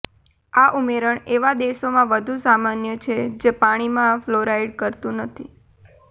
આ ઉમેરણ એવા દેશોમાં વધુ સામાન્ય છે જે પાણીમાં ફલોરાઇડ કરતું નથી